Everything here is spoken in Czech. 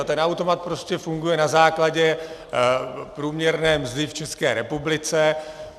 A ten automat prostě funguje na základě průměrné mzdy v České republice.